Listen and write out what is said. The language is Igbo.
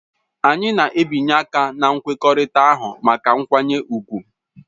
Anyị na-abịanye aka na nkwekọrịta ahụ maka nkwanye ùgwù.